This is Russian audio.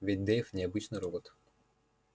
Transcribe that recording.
ведь дейв не обычный робот